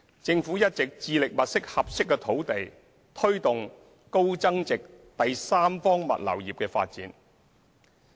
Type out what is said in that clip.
政府一直致力物色合適土地，推動高增值第三方物流業的發展。